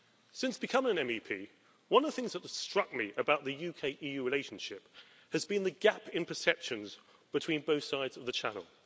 Since becoming an MEP, one of the things that has struck me about the UK EU relationship has been the gap in perceptions between both sides of the Channel.